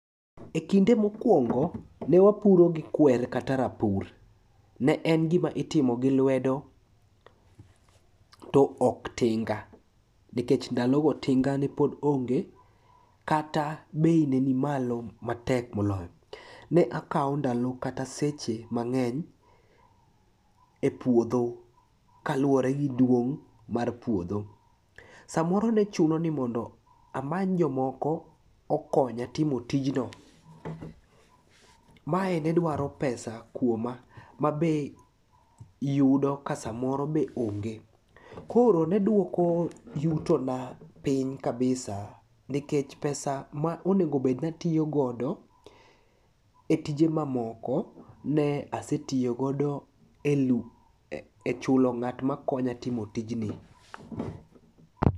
E kinde mokwongo ne wapuro gi kwer kata rapur. Ne en gima itimo gi lwedo to ok tinga nikech ndalogo tinga ne pod onge kata bei ne ni malo matek moloyo. Ne akawo ndalo kata seche mang'eny e puodho kaluwore gi duong' mar puodho. Samoro ne chuno ni mondo amany jomoko okonya timo tijno, mae ne dwaro pesa kuoma ma be yudo ka samoro onge. Koro ne duoko yutona piny kabisa nikech pesa ma onegobed natiyogodo e tije mamoko ne asetiyogodo e chulo ng'at makonya timo tijni.